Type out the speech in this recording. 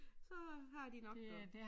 Så har de nok noget